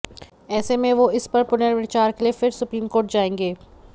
ऐसे में वो इस पर पुनर्विचार के लिए फिर सुप्रीम कोर्ट जाएंगे